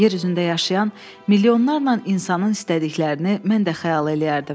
Yer üzündə yaşayan milyonlarla insanın istədiklərini mən də xəyal eləyərdim.